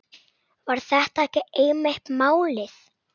Var þetta ekki einmitt málið?